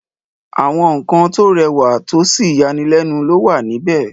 àwa nǹkan tó rẹwà tósì yanilẹ́nu ló wà níbẹ̀.